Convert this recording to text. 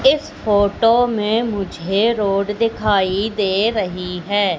इस फोटो में मुझे रोड दिखाई दे रही है।